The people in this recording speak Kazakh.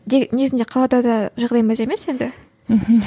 негізінде қалада да жағдай мәз емес енді мхм